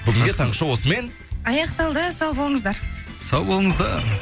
бүгінге таңғы шоу осымен аяқталды сау болыңыздар сау болыңыздар